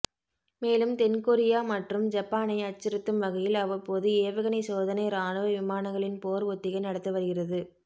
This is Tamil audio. மேலும் தென்கொரியா மற்றும் ஜப்பானை அச்சுறுத்தும் வகையில் அவ்வப்போது ஏவுகணை சோதனை ராணுவ விமானங்களின் போர் ஒத்திகை நடத்தி வருகிறது